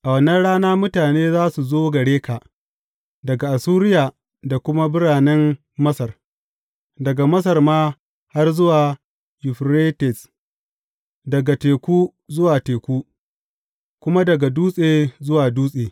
A wannan rana mutane za su zo gare ka daga Assuriya da kuma biranen Masar, daga Masar ma har zuwa Yuferites daga teku zuwa teku, kuma daga dutse zuwa dutse.